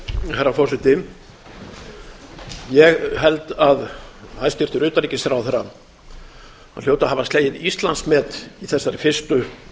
herra forseti ég held að hæstvirtur utanríkisráðherra hljóti að hafa slegið íslandsmet í þessari fyrstu